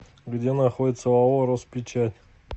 где находится оао роспечать